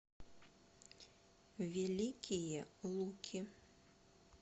великие луки